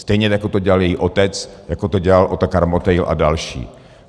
Stejně jako to dělal její otec, jako to dělal Otakar Motejl a další.